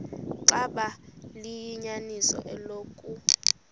xaba liyinyaniso eloku